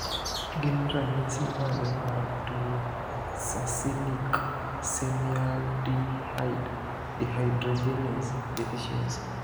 Gin ranyisis mage mar tuo Succinic semialdehyde dehydrogenase deficiency?